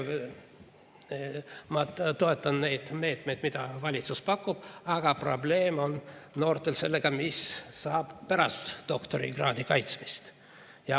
Ma toetan neid meetmeid, mida valitsus pakub, aga probleem on noortel sellega, mis saab pärast doktorikraadi kaitsmist.